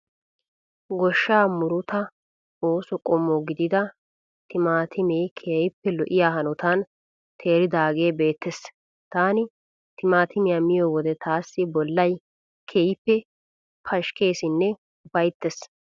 Goshshaa murutaa ooso qommo gidida timatimee keehippe lo'iya hanotan teeridaagee beettees. Taani timatimiyaa miyo wode taassi bollay keehippe pashikkeesinne ufayittees.